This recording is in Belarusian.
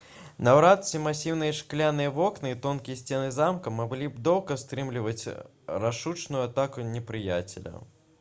наўрад ці масіўныя шкляныя вокны і тонкія сцены замка маглі б доўга стрымліваць рашучую атаку непрыяцеля